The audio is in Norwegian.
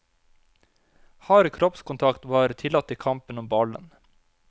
Hard kroppskontakt var tillatt i kampen om ballen.